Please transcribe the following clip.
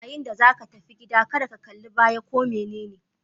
Yayin da zaka tafi gida, kada ka kallibaya ko da menene